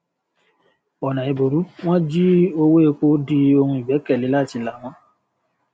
ọnà ẹbùrú wọn jí owó epo di ohun ìgbékèlé láti là wọn